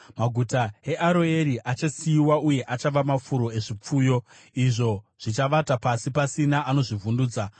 Maguta eAroeri achasiyiwa uye achava mafuro ezvipfuyo, izvo zvichavata pasi, pasina anozvivhundutsa.